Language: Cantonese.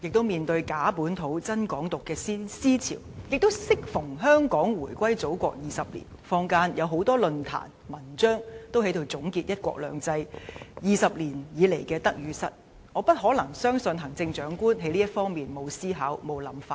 面對"假本土、真港獨"的思潮，亦適逢香港回歸祖國20年，坊間有很多論壇和文章總結"一國兩制 "20 年來的得與失，我相信行政長官不可能在這方面沒有思考和想法。